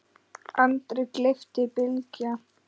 andri, gleypti Bylgja.